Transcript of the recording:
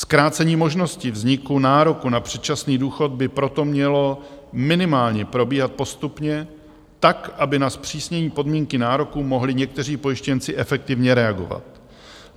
Zkrácení možnosti vzniku nároku na předčasný důchod by proto mělo minimálně probíhat postupně, tak, aby na zpřísnění podmínky nároku mohli někteří pojištěnci efektivně reagovat.